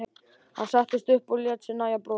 Hann settist upp og lét sér nægja að brosa.